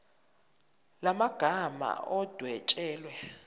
la magama adwetshelwe